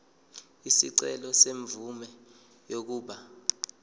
isicelo semvume yokuba